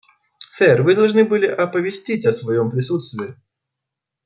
сэр вы должны были оповестить о своём присутствии